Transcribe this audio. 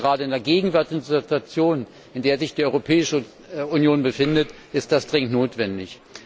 Ich glaube, gerade in der gegenwärtigen Situation, in der sich die Europäische Union befindet, ist das dringend notwendig.